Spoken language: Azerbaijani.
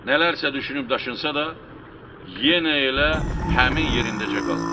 Nələrsə düşünüb-daşınsa da, yenə elə həmin yerindəcə qaldı.